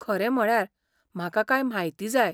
खरें म्हळ्यार, म्हाका कांय म्हायती जाय.